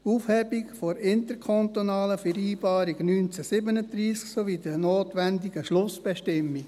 Aufhebung der interkantonalen Vereinbarung 1937 sowie der notwenigen Schlussbestimmungen.